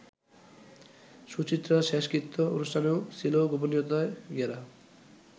সুচিত্রার শেষকৃত্য অনুষ্ঠানও ছিল গোপনীয়তায় ঘেরা।